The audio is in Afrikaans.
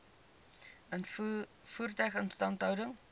voertuie instandhouding